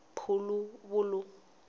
puluvulu